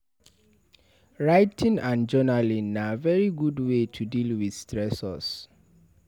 Writing and journaling na very good wey to deal with stressors